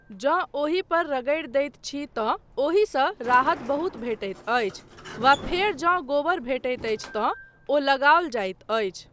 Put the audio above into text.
जँ ओहिपर रगड़ि दैत छी तँ ओहिसँ राहत बहुत भेटैत अछि, वा फेर जंँ गोबर भेटैत अछि तँ ओ लगाओल जाइत अछि।